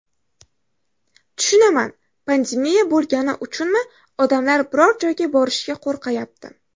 Tushunaman, pandemiya bo‘lgani uchunmi, odamlar biror joyga borishga qo‘rqyapti.